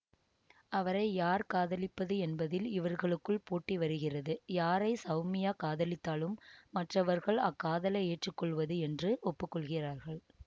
அவரை யார் காதலிப்பது என்பதில் இவர்களுக்குள் போட்டி வருகிறது யாரை சௌமியா காதலித்தாலும் மற்றவர்கள் அக்காதலை ஏற்றுக்கொள்வது என்று ஒப்புக்கொள்கிறார்கள்